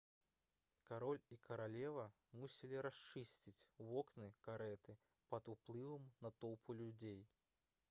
кароль і каралева мусілі расчыніць вокны карэты пад уплывам натоўпу людзей